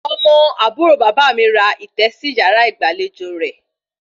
Ọmọ àbúrò bàbá mi ra ìtẹ́ sí yàrá ìgbàlejò rẹ̀